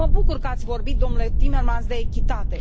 Mă bucur că ați vorbit, domnule Timmermans, de echitate.